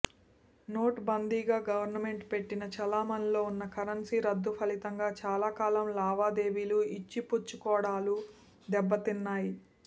note బందీగా government పెట్టిన చలామణీలో వున్న కరెన్సీ రద్దు ఫలితంగా చాలాకాలం లావాదేవీలు యిచ్చిపుచ్చుకోడాలూ దెబ్బతిన్నాయ్